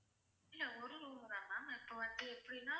இல்ல ஒரு room தான் ma'am இப்ப வந்து எப்படின்னா